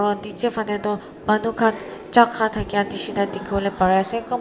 nije faneh tu manu kan cha ka dakia dikibolae pari ase kunba.